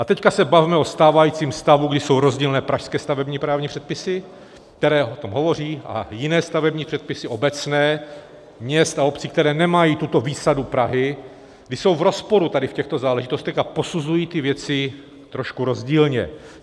A teď se bavme o stávajícím stavu, kdy jsou rozdílné pražské stavební právní předpisy, které o tom hovoří, a jiné stavební předpisy obecné měst a obcí, které nemají tuto výsadu Prahy, kdy jsou v rozporu tady v těchto záležitostech a posuzují ty věci trošku rozdílně.